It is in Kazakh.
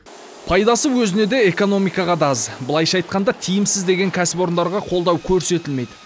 пайдасы өзіне де экономикаға да аз былайша айтқанда тиімсіз деген кәсіпорындарға қолдау көрсетілмейді